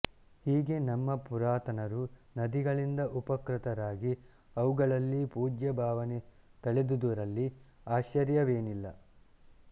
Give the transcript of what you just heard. ಹೀಗೆ ನಮ್ಮ ಪುರಾತನರು ನದಿಗಳಿಂದ ಉಪಕೃತರಾಗಿ ಅವುಗಳಲ್ಲಿ ಪೂಜ್ಯಭಾವನೆ ತಳೆದುದರಲ್ಲಿ ಆಶ್ಚರ್ಯವೇನಿಲ್ಲ